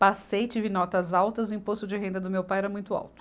Passei, tive notas altas, o imposto de renda do meu pai era muito alto.